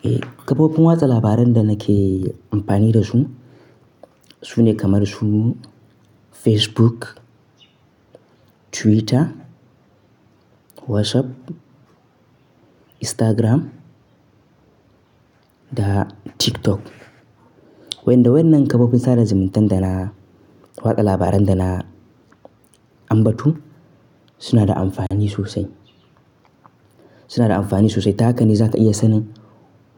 Eh, kafofin watsa labaran da nake amfani da su sune kamar su Facebook, Twitter, WhatsApp, Instagram da TikTok. Wa inda waenan kafofin sada zumuntan da na watsa labaran da na ambato suna da amfani sosai. Suna da amfani sosai. Ta haka ne za ta iya sanin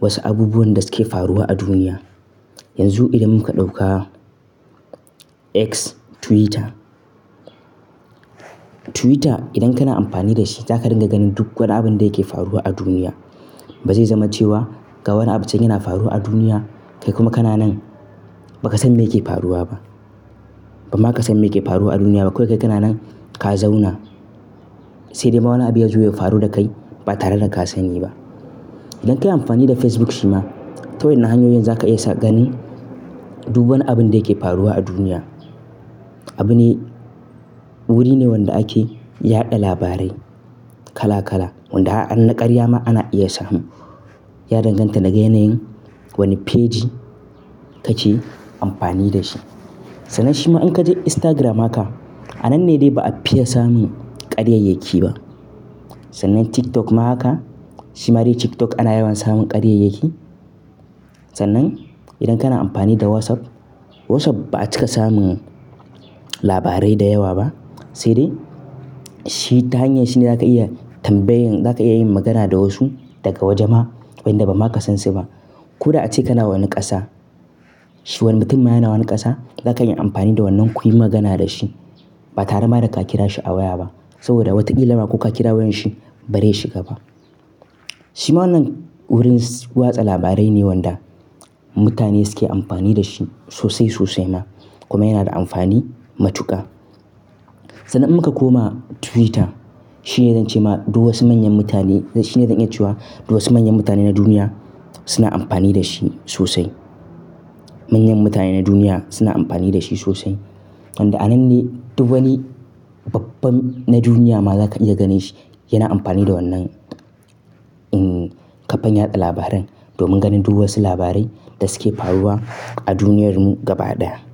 wasu abubuwan da suke faruwa a duniya. Yanzu idan muka ɗauka X Twitter. Twitter idan kana amfani da shi za ka riƙa ganin duk wani abin da yake faruwa a duniya. Ba zai zama cewa ga wani abincin yana faruwa a duniya kai kuma kana nan ba ka san me yake faruwa ba. Ba ma ka san me yake faruwa a duniya ba. Ko kai kana nan ka zauna. Sai dai ma wani abu yazo ya faru da kai ba tare da ka sani ba. Idan ka yi amfani da Facebook shi ma ta wani hanyoyin za ka iya ganin duk wani abin da yake faruwa a duniya. Abune, wuri ne wanda ake yaɗa labarai kala kala wanda har naƙarya ma ana iya samu. Ya danganta da ga yanayin wani feji kake amfani da shi. Sannan shi ma in ka je Instagram haka a nan ne dai ba a fiya samun karya yake ba. Sannan TikTok ma haka. Shi ma dai TikTok ana yawan samun karya yake. Sannan idan kana amfani da WhatsApp, WhatsApp ba'a cika samun labarai da yawa ba. Sai dai shi ta hanyar shi ne za ka iya tambayan-- za ka iya yin magana da wasu daga waje ma wanda ba ma ka san shi ba. Ko da ace kala wani ƙasa. Shi wani mutum yana wani ƙasa za ka iya amfani da wannan kuyi magana da shi ba tare ma da ka kira shi a waya ba. Saboda wataƙila ma ko ka kira wayan shi ba zai shiga ba. Shi ma wannan wurin watsa labarai ne wanda mutane suke amfani da shi sosai sosai ma kuma yana da amfani matuƙa. Sannan in muka koma Twitter. Shi ne zan cema duk wasu manyan mutane-- shi ne don iya cewa duk wasu manyan mutane na duniya suna amfani da shi sosai. Manyan mutane na duniya suna amfani da shi sosai. Wanda a nan ne duk wani babban na duniya ma za ka iya gane shi yana amfani da wannan, kafar yaɗa labaran domin ganin duk wasu labarai da suke faruwa a duniyarmu gaba ɗaya.